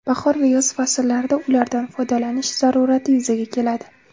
Bahor va yoz fasllarida ulardan foydalanish zarurati yuzaga keladi.